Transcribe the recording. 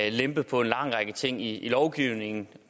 og lempet på en lang række ting i lovgivningen